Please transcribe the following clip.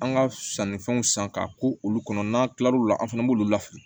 An ka sannifɛnw san k'a ko olu kɔnɔ n'an tilal'u la an fɛnɛ b'olu lafili